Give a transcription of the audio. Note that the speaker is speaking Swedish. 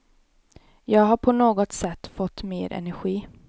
Jag har på något sätt fått mer energi.